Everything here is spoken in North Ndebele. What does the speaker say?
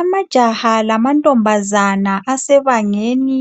Amajaha lamankazana asebangeni